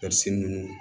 ninnu